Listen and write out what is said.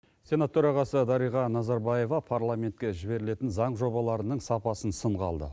сенат төрағасы дарига назарбаева парламентке жіберілетін заң жобаларының сапасын сынға алды